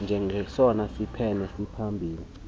njengesona siphene siphambili